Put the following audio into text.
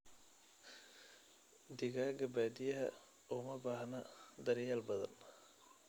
Digaaga baadiyaha uma baahna daryeel badan.